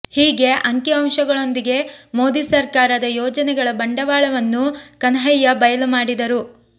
ಹೀಗೆ ಅಂಕಿ ಅಂಶಗಳೊಂದಿಗೆ ಮೋದಿ ಸರ್ಕಾರದ ಯೋಜನೆಗಳ ಬಂಡವಾಳವನ್ನು ಕನ್ಹಯ್ಯ ಬಯಲು ಮಾಡಿದರು